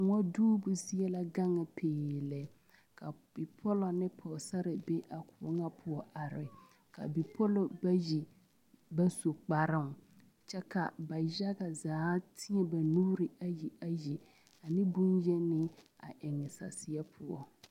Koɔ duubo zie la gaŋ pee lɛ ka bipɔllɔ ne Pɔgesarre be a kõɔ ŋa poɔ are ka bipɔllɔ bayi ba su kparoo kyɛ ka ba yaga zaa teɛ ba nuuri ayi ayi boŋyeni a eŋ saseɛ poɔ.